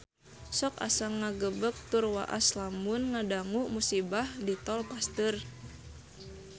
Sok asa ngagebeg tur waas lamun ngadangu musibah di Tol Pasteur